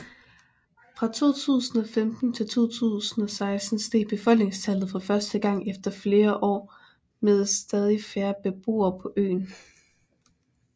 Fra 2015 til 2016 steg befolkningstallet for første gang efter flere år med stadig færre beboere på øen